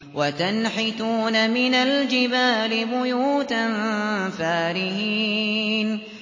وَتَنْحِتُونَ مِنَ الْجِبَالِ بُيُوتًا فَارِهِينَ